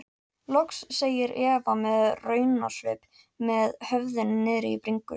Loks segir Eva með raunasvip með höfuðið niðri í bringu.